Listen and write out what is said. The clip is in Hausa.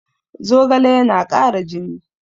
Zogale yana kara jini